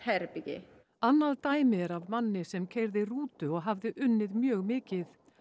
herbergi annað dæmi er af manni sem keyrði rútu og hafði unnið mjög mikið